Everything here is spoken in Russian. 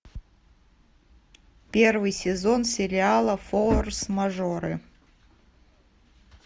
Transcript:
первый сезон сериала форс мажоры